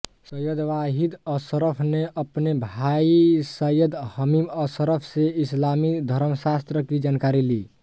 सैयद वाहीद अशरफ ने अपने भाई सैयद हमीद अशरफ से इस्लामिक धर्मशास्त्र की जानकारी ली